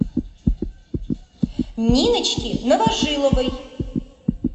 ниночки новожиловой